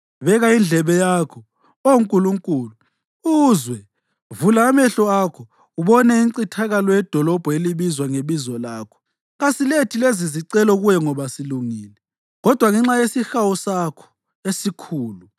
Beka indlebe yakho, Oh Nkulunkulu, uzwe; vula amehlo akho ubone incithakalo yedolobho elibizwa ngeBizo lakho. Kasilethi lezizicelo kuwe ngoba silungile, kodwa ngenxa yesihawu sakho esikhulu.